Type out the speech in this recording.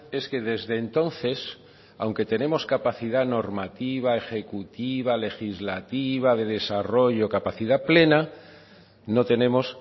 es que desde entonces aunque tenemos capacidad normativa ejecutiva legislativa de desarrollo capacidad plena no tenemos